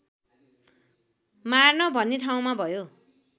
मार्न भन्ने ठाउँमा भयो